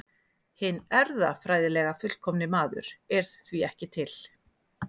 Hinn erfðafræðilega fullkomni maður er því ekki til.